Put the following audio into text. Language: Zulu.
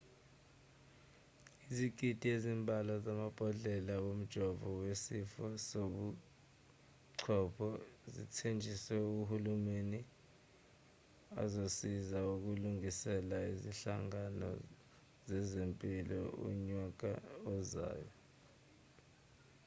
izigidi ezimbalwa zamabhodlela womjovo wesifo sobuchopho zithenjiswe uhulumeni azosiza ukulungiselela izinhlangano zezempilo unyaka ozayo